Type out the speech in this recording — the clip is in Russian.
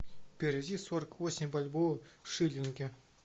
переведи сорок восемь бальбоа в шиллинги